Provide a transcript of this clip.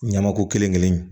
Ɲamaku kelen kelen